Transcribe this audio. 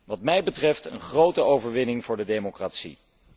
Wat mij betreft een grote overwinning voor de democratie.